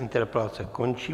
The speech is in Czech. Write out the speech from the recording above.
Interpelace končí.